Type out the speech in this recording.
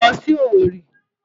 Mò ń lọ sí Owerri.